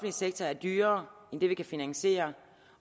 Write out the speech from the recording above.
sektor er dyrere end det vi kan finansiere